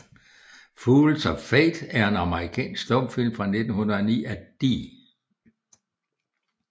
Fools of Fate er en amerikansk stumfilm fra 1909 af D